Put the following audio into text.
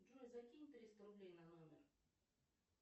джой закинь триста рублей на номер